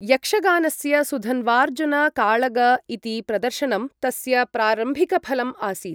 यक्षगानस्य सुधन्वार्जुन काळग इति प्रदर्शनं तस्य प्रारम्भिकफलम् आसीत्।